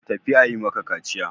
Tafi a yi maka kaciya!